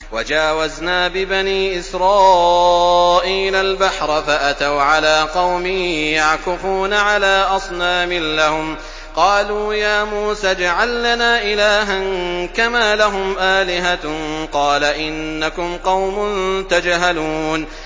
وَجَاوَزْنَا بِبَنِي إِسْرَائِيلَ الْبَحْرَ فَأَتَوْا عَلَىٰ قَوْمٍ يَعْكُفُونَ عَلَىٰ أَصْنَامٍ لَّهُمْ ۚ قَالُوا يَا مُوسَى اجْعَل لَّنَا إِلَٰهًا كَمَا لَهُمْ آلِهَةٌ ۚ قَالَ إِنَّكُمْ قَوْمٌ تَجْهَلُونَ